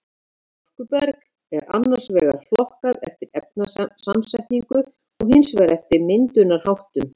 Storkuberg er annars vegar flokkað eftir efnasamsetningu og hins vegar eftir myndunarháttum.